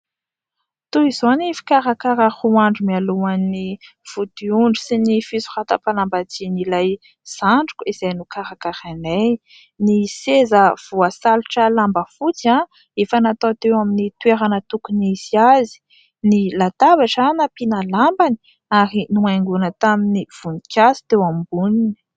Toy izao ny fikarakarana roa andro mialoha ny vodiondry sy ny fisoratam-panambadian'ilay zandriko izay nokarakarainay. Ny seza voasalotra lamba fotsy, efa natao teo amin'ny toerana tokony hisy azy ; ny latabatra nampiana lambany ary nohaingoina tamin'ny voninkazo teo amboniny.